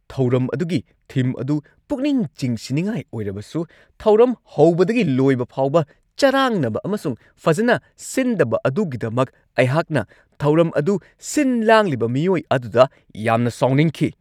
ꯊꯧꯔꯝ ꯑꯗꯨꯒꯤ ꯊꯤꯝ ꯑꯗꯨ ꯄꯨꯛꯅꯤꯡ ꯆꯤꯡꯁꯤꯟꯅꯤꯡꯉꯥꯏ ꯑꯣꯏꯔꯕꯁꯨ ꯊꯧꯔꯝ ꯍꯧꯕꯗꯒꯤ ꯂꯣꯏꯕ ꯐꯥꯎꯕ ꯆꯔꯥꯡꯅꯕ ꯑꯃꯁꯨꯡ ꯐꯖꯅ ꯁꯤꯟꯗꯕ ꯑꯗꯨꯒꯤꯗꯃꯛ ꯑꯩꯍꯥꯛꯅ ꯊꯧꯔꯝ ꯑꯗꯨ ꯁꯤꯟ-ꯂꯥꯡꯂꯤꯕ ꯃꯤꯑꯣꯏ ꯑꯗꯨꯗ ꯌꯥꯝꯅ ꯁꯥꯎꯅꯤꯡꯈꯤ ꯫